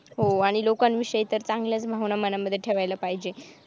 हो आणि लोकांविषयी तर चांगल्याच भावना मनामध्ये ठेवायला पाहिजे.